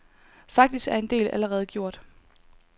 Faktisk er en del allerede gjort.